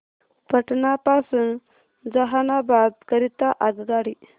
पटना पासून जहानाबाद करीता आगगाडी